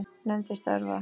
Nefndir starfa